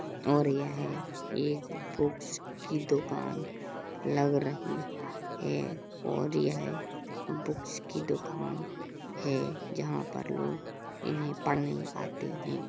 और यह एक बुक्स की दुकान लग रही है और यह बुक्स की दुकान है। जहां पर लोग इन्हे पढ़ने आते हैं।